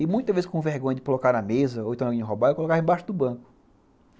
E, muitas vezes, com vergonha de colocar na mesa, ou então alguém me roubava, eu colocava embaixo do banco.